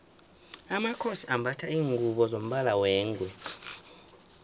amakhosi ambatha lingubo zombala wengwe